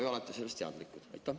Kas olete sellest teadlik?